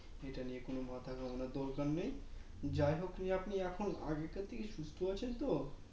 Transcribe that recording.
সেটা নিয়ে কোনো মাথা ঘামানোর দরকার নেই যাহোক নিয়ে আপনি এখন আগেকার থেকে সুস্থ আছেন তো